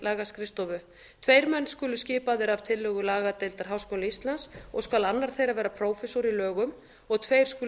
lagaskrifstofu tveir menn skulu skipaðir að tillögu lagadeildar háskóla íslands og skal annar þeirra vera prófessor í lögum og tveir skulu